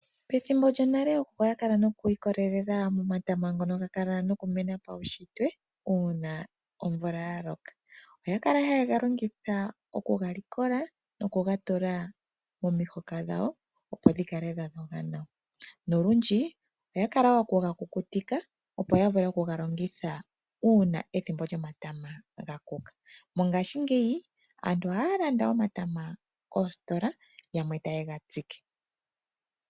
Pethimbo lyonale ookuku oya kala nookwiikololela momatama ngoka ga kala nokumena pawushitwe, uuna omvula ya loka. Oyakala haye ga longitha oku ga likola no ku gatula momihoka dhowo opo dhi kale dha dhoga nawa, nolundji oya kala okugakukutika opo ya vule okuga longitha uuna ethimbo lyomatama ga kuka. Mongashingeyi aantu oha ya landa omatama koositola, yamwe ta ye nga tsike.